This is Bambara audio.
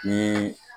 Ni